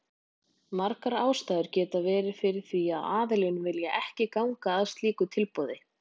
Margar ástæður geta verið fyrir því að aðilinn vill ekki ganga að slíku tilboði.